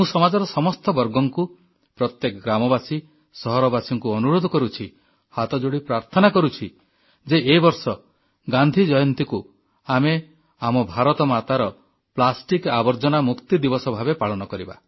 ମୁଁ ସମାଜର ସମସ୍ତ ବର୍ଗଙ୍କୁ ପ୍ରତ୍ୟେକ ଗ୍ରାମବାସୀ ସହରବାସୀଙ୍କୁ ଅପିଲ୍ ଅନୁରୋଧ କରୁଛି ହାତ ଯୋଡ଼ି ପ୍ରାର୍ଥନା କରୁଛି ଯେ ଏ ବର୍ଷ ଗାନ୍ଧୀ ଜୟନ୍ତୀକୁ ଆମେ ଆମ ଭାରତମାତାର ପ୍ଲାଷ୍ଟିକ ଆବର୍ଜନା ମୁକ୍ତି ଦିବସ ଭାବେ ପାଳନ କରିବା